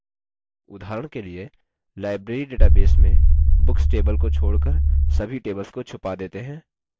उदाहरण के लिए library database में books table को छोड़कर सभी tables को छुपा देते हैं